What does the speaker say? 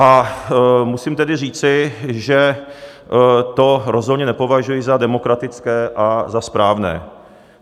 A musím tedy říci, že to rozhodně nepovažuji za demokratické a za správné.